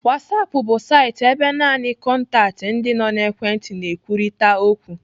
Whatsapp bu saịtị ebe naanị kọntaktị ndị nọ n'ekwentị na-ekwurịta okwu.